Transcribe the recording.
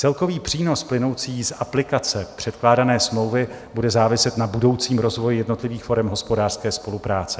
Celkový přínos plynoucí z aplikace předkládané smlouvy bude záviset na budoucím rozvoji jednotlivých forem hospodářské spolupráce.